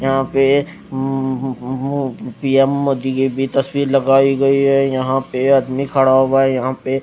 यहां पे म्म्म्म पी_एम मोदी की भी तस्वीर लगाई गई है यहां पे आदमी खड़ा हुआ यहां पे--